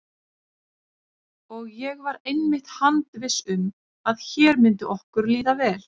Og ég var einmitt handviss um að hér myndi okkur líða vel.